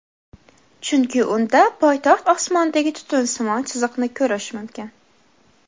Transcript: Chunki unda poytaxt osmonidagi tutunsimon chiziqni ko‘rish mumkin.